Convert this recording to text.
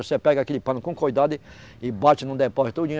Aí você pega aquele pano com cuidado e, e bate no depósito, tudinho.